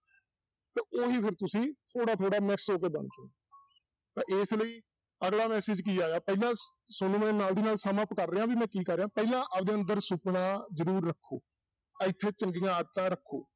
ਤੇ ਉਹੀ ਫਿਰ ਤੁਸੀਂ ਥੋੜ੍ਹਾ ਥੋੜ੍ਹਾ mix ਹੋ ਕੇ ਬਣ ਤਾਂ ਇਸ ਲਈ ਅਗਲਾ message ਕੀ ਆਇਆ ਪਹਿਲਾਂ ਤੁਹਾਨੂੰ ਮੈਂ ਨਾਲ ਦੀ ਨਾਲ sum up ਕਰ ਰਿਹਾਂ ਵੀ ਮੈਂ ਕੀ ਕਰ ਰਿਹਾਂ ਪਹਿਲਾਂ ਆਪਦੇ ਅੰਦਰ ਸੁਪਨਾ ਜਰੂਰ ਰੱਖੋ ਇੱਥੇ ਚੰਗੀਆਂ ਆਦਤਾਂ ਰੱਖੋ।